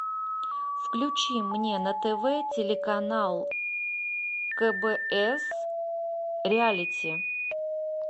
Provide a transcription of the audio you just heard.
включи мне на тв телеканал кбс реалити